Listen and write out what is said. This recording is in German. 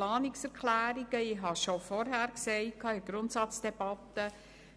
Ich habe bereits in der Grundsatzdebatte gesagt,